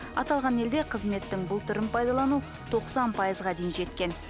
аталған елде қызметтің бұл түрін пайдалану тоқсан пайызға дейін жеткен